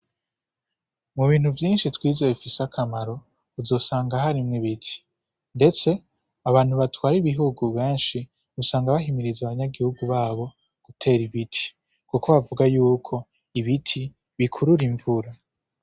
Mubintu vyinshi twize bifise akamaro, uzosanga harimwo ibiti, ndetse abantu batwara ibihugu benshi usanga bahimiriza abanyagihugu babo gutera ibiti, kuko bavuga yuko ibiti bikurura invura.